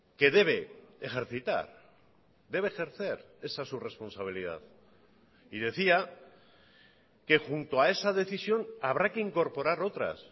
que debe ejercitar debe ejercer esa es su responsabilidad y decía que junto a esa decisión habrá que incorporar otras